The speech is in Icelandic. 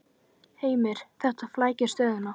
Heimir: Þetta flækir stöðuna?